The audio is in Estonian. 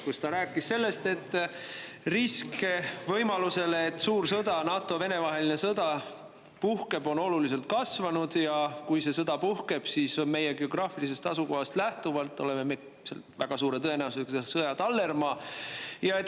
Ta rääkis sellest, et risk, et puhkeb suur sõda, NATO ja Vene vaheline sõda, on oluliselt kasvanud, ja kui see sõda puhkeb, siis meie geograafilisest asukohast lähtuvalt oleme me väga suure tõenäosusega sõja tallermaa.